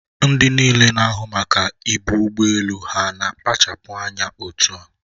Ndị niile na-ahụ maka ibu ụgbọ elu ha na-akpachapụ anya otua?